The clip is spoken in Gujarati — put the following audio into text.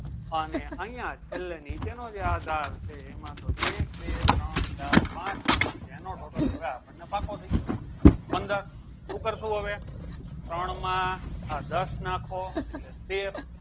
અને અહીંયા છેલ્લે નીચેનો જે આધાર છે એમાં તો એક બે ત્રણ ચાર પાંચ સુધી જેનો total હવે આપણને પાકો થઈ ગયો પંદર ઉપર શું આવે ત્રોણ માં આ દસ નાખો એટલે તેર